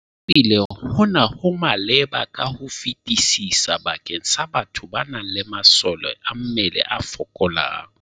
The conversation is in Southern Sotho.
Ebile hona ho maleba ka ho fetisisa bakeng sa batho ba nang le masole a mmele a fokolang.